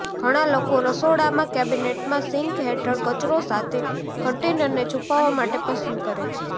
ઘણા લોકો રસોડામાં કેબિનેટમાં સિંક હેઠળ કચરો સાથે કન્ટેનરને છુપાવવા માટે પસંદ કરે છે